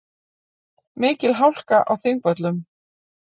Mikil hálka á Þingvöllum